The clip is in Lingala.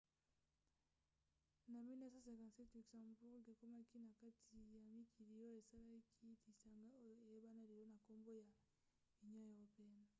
na 1957 luxembourg ekomaki na kati ya mikili oyo esalaki lisanga oyo eyebana lelo na nkombo ya union européenne